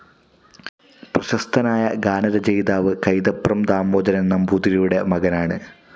പ്രശസ്തനായ ഗാനരചയിതാവ് കൈതപ്രം ദാമോദരൻ നമ്പൂതിരിയുടെ മകനാണ്.